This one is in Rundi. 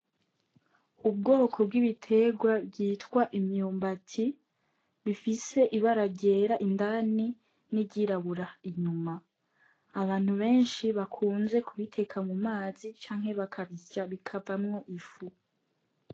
Ubwoko bw'ibiterwa vyitwa imyumbati bifise ibara ryera indani, n'iryirabura inyuma . Abantu benshi kubiteka mu mazi canke bakabisya bikavamwo ifu.